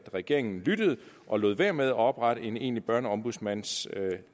regeringen lyttede og lod være med at oprette en egentlig børneombudsmandsstilling